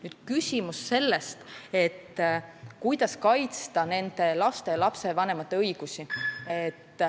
Nüüd on küsimus, kuidas kaitsta nende laste vanemate õigusi.